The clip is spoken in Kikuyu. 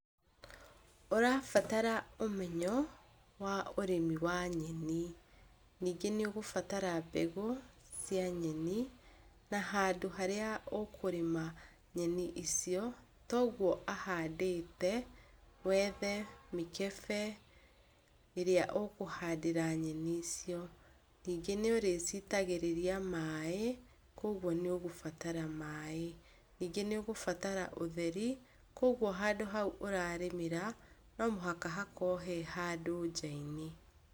Ũrabatara ũmenyo wa ũrĩmi wa nyeni. Nyingĩ nĩũgũbatara mbegũ cia nyeni na handũ harĩa ũkũrĩma nyeni icio, toguo ahandĩte. Wethe mĩkĩbe ĩrĩa ũkũhandĩra nyeni icio. Ningĩ nĩũrũcitagĩrĩria maĩ, koguo nĩgũrabatara maĩ. Ningĩ nĩũgũbatara ũtheri, koguo handũ hau ũrarĩmĩra no mũhaka hakorwo he handũ nja-inĩ.